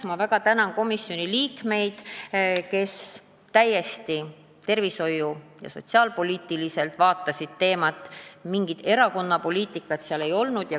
Ma väga tänan komisjoni liikmeid, kes vaatasid teemat täiesti tervishoiu- ja sotsiaalpoliitiliselt, mingit erakonnapoliitikat seal ei olnud.